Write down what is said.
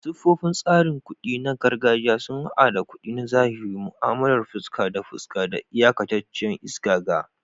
Siffofin tsarin kuɗi na gargajiya sun haɗa da kuɗi na zahiri, mu'amalar fuska da fuska, da iyakataccen isa ga.